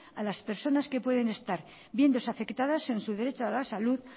a las personas que puedan estar viéndose afectadas en su derecho a la salud